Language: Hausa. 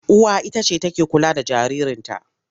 Uwa ita ce take kula da jaririnta.